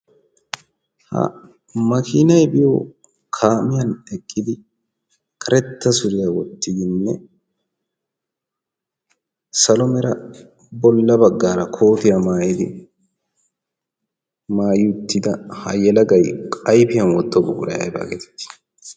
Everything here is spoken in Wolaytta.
Ha makiinay biyo kaamiyan eqqidi karetta suriyaa wottidinne salo mera bolla baggaara kootiyaa maayidi maay uttida ha yelagay ayfiyan wottido buquray aybaa geteti?